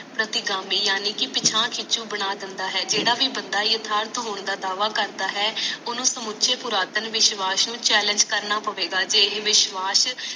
ਸਤਿਗਾਮੀ ਯਾਨੀ ਕਿ ਪਿਛਾਂ ਖਿਚੂ ਬਣਾ ਦਿੰਦਾ ਹੈ ਜੇਡਾ ਭੀ ਬੰਦਾ ਯਥਾਰਥ ਹੋਣ ਦਾ ਦਾਵਾ ਕਰਦਾ ਹੈ ਓਹਨੂੰ ਸਮੁਚੇ ਪੁਰਾਤਨ ਵਿਸ਼ਵਾਸ ਨੂੰ challenge ਕਰਨਾ ਪਵੇਗਾ ਜੇ ਇਹ ਵਿਸ਼ਵਾਸ